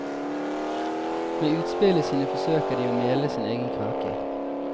Med utspillene sine forsøker de å mele sin egen kake.